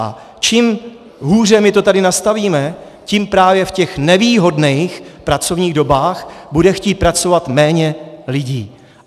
A čím hůře my to tady nastavíme, tím právě v těch nevýhodných pracovních dobách bude chtít pracovat méně lidí.